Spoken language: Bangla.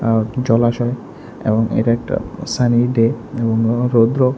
আঃ জলাশয় এবং এটা একটা সানি ডে এবং আঃ রৌদ্র।